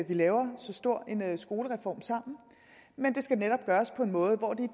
vi laver så stor en skolereform sammen men det skal netop gøres på en måde hvor det